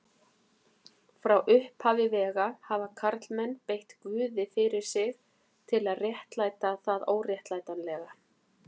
Frá upphafi vega hafa karlmenn beitt guði fyrir sig til að réttlæta það óréttlætanlega.